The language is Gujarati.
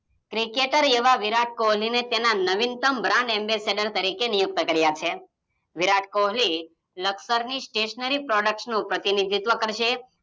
ક્રિકેટર એવા વિરાટ કોહલીને એના નવીનતમ Brand ambassadors તરીકે નિયુક્ત કાર્ય છે વિરાટ કોહલી લકસરની સ્ટેશનરી પ્રોડક્સનું પ્રતિનિધિત્વ કરશે